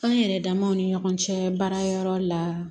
Kan yɛrɛ damaw ni ɲɔgɔn cɛ baara yɔrɔ la